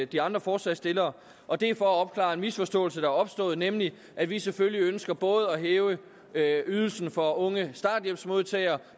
de andre forslagsstillere og det er for at opklare en misforståelse opstået nemlig at vi selvfølgelig ønsker både at hæve ydelsen for unge starthjælpsmodtagere